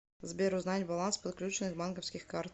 сбер узнать баланс подключенных банковских карт